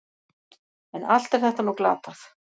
En allt er þetta nú glatað.